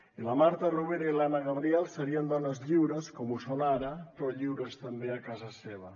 i la marta rovira i l’anna gabriel serien dones lliures com ho són ara però lliures també a casa seva